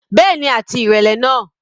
Bẹ́ẹ̀ni, àti ìrẹlẹ náà.